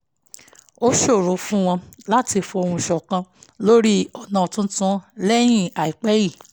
ó ṣòro fún wọn láti fohùn ṣọ̀kan lórí ọ̀nà tuntun lẹ́yìn àìpẹ́ yìí